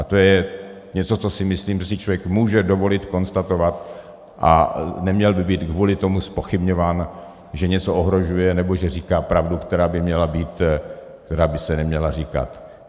A to je něco, co si myslím, že si člověk může dovolit konstatovat, a neměl by být kvůli tomu zpochybňován, že něco ohrožuje, nebo že říká pravdu, která by se neměla říkat.